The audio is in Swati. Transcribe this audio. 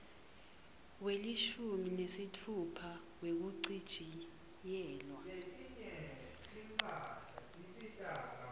welishumi nesitfupha wekuchitjiyelwa